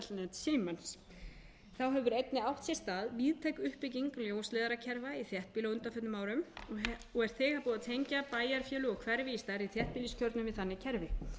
símans þá hefur einnig átt sér stað víðtæk uppbygging ljósleiðarakerfa í þéttbýli á undanförnum árum og er þegar búið að tengja bæjarfélög og hverfi í stærri þéttbýliskjörnum við þannig kerfi stafræn